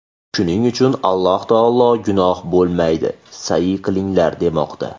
Shuning uchun Alloh taolo gunoh bo‘lmaydi, sa’yi qilinglar, demoqda.